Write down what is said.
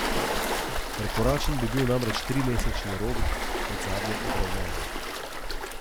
Prekoračen bi bil namreč trimesečni rok od zadnje obravnave.